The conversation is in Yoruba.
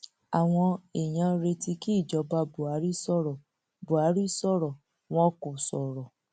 àwọn èèyàn retí kí ìjọba buhari sọrọ buhari sọrọ wọn kò sọrọ